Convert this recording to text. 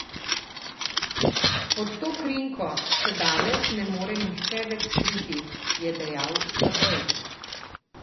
Pod to krinko se danes ne more nihče več skriti, je dejal Stabej.